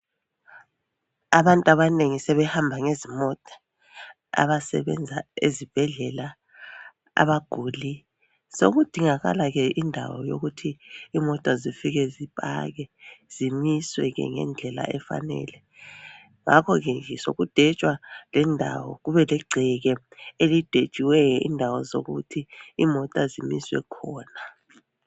Abantu abanengi sebehamba ngezimota, abasebenza ezibhedlela abaguli. Sokudingakala ke indawo eyokuthi imota zifike zipakwe zimiswe ngendlela efanele ngakho sokudwetshwa lendawo kubeligceke elidwetshiweyo indawo zokuthi imota zimiswe khona.